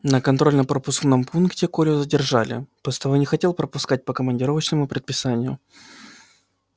на контрольно пропускном пункте колю задержали постовой не хотел пропускать по командировочному предписанию